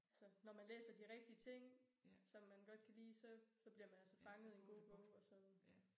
Altså når man læser de rigtige ting som man godt kan lide så så bliver man altså fanget i en god bog og så